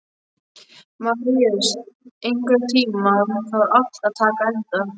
Maríus, einhvern tímann þarf allt að taka enda.